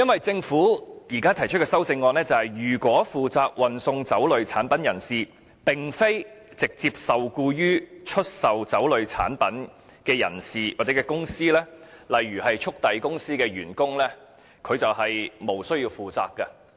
政府現時提出的修正案是，如果負責運送酒類產品人士並非直接受僱於出售酒類產品的人士或公司，例如速遞公司的員工便無須負責。